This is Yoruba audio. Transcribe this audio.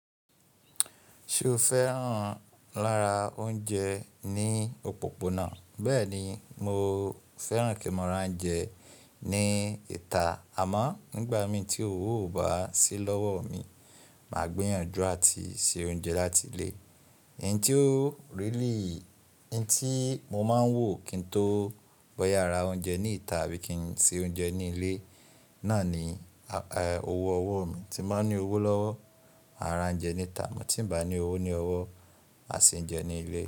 Ṣé o fẹ́ràn lára oúnjẹ ní òpópónà? Bẹ́ẹ̀ni mo fẹ́ràn kí mọ̀ rán ounjẹ ní ìta àmọ́ nígbà mí tí òwò ò bá sí lọ́wọ́ mi, màá gbìyànjú àti se oúnjẹ láti ilé. Ẹ̀yin tí ó really, n tí mo máa ń wò kí n tó bọ yàrá oúnjẹ ní ìta àbí kí n se oúnjẹ ní ilé náà ni owó ọwọ́ mi. Tí m bá ní owó lọ́wọ́, máa ra oúnjẹ ní ìta, tí ń bá ní owó ní ọwọ́, màá se oúnjẹ ní ilé.